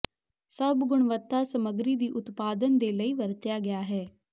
ਸਭ ਗੁਣਵੱਤਾ ਸਮੱਗਰੀ ਦੀ ਉਤਪਾਦਨ ਦੇ ਲਈ ਵਰਤਿਆ ਗਿਆ ਹੈ